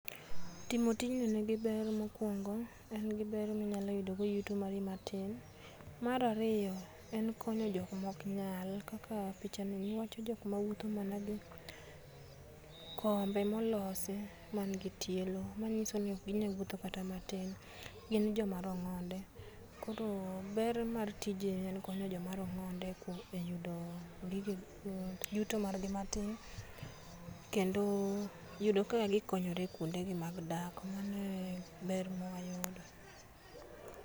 Timo tijni ni gi ber mokwong'o, en gi ber ni nyalo yudo go yuto mari matin mar ariyo en konyo jok mok nyal kaka picha ni jok ma wuotho nama gi kombe molosi mangi tielo manyiso ni ok ginyal wuotho kata matin gin joma rong'onde koro ber mar tije en konyo joma rong'onde kuom e yudo gige yuto mar gi matin kendo yudo kaka gikonyore e kwonde gi mag dak.